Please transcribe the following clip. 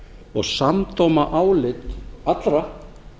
og samdóma álit allra